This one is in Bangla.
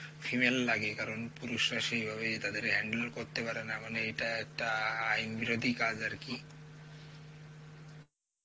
female লাগে কারণ পুরুষরা সেই ভাবে তাদের হ্যান্ডেলও করতে পারেনা মানে এইটা একটা আ আইনবিরোধী কাজ আর কি